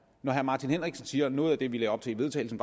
når herre martin henriksen siger at noget af det vi lagde op til i vedtagelsen